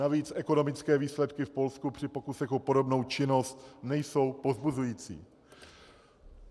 Navíc ekonomické výsledky v Polsku při pokusech o podobnou činnost nejsou povzbuzující.